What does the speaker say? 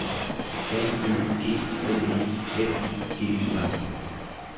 N Ø G L E F I G U R